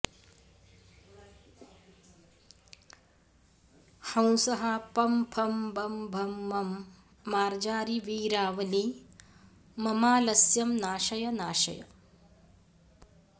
हंसः पं फं बं भं मं मार्जारि वीरावलि ममालस्यं नाशय नाशय